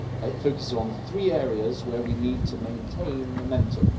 It focuses on three areas where we need to maintain momentum.